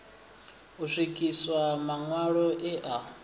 u swikiswa maṋwalo e a